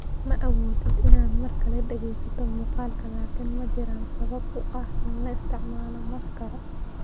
Ma awoodid inaad mar kale dhageysato muuqaalka, laakiin ma jiraan sabab u ah in la isticmaalo maaskaro?